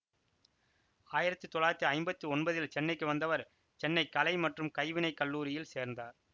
ஆயிரத்தி தொள்ளாயிரத்தி ஐம்பத்தி ஒன்பதில் சென்னைக்கு வந்தவர் சென்னை கலை மற்றும் கைவினைக் கல்லூரில் சேர்ந்தார்